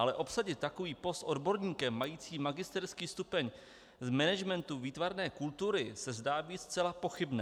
Ale obsadit takový post odborníkem majícím magisterský stupeň v managementu výtvarné kultury se zdá být zcela pochybné.